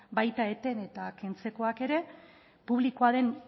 baita eten eta kentzekoak ere publikoa den